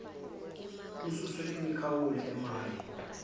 kususwe imikhawulo emaye